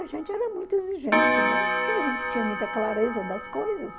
A gente era muito exigente, né, porque a gente tinha muita clareza das coisas.